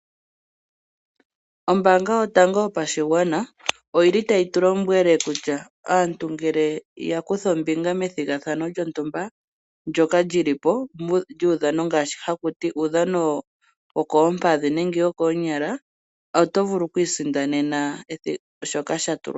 Ombaanga yotango yopashigwana oyi li tayi tu lombwele kutya aantu ngele ya kutha ombinga methigathano lyontumba, ndjoka lyi li po, lyuudhano ngaashi haku ti uudhano wokoompadhi nenge wokoonyala. Oto vulu okwii sindanena shoka sha tulwa po.